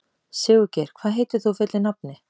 Sigurgeir, hvað heitir þú fullu nafni?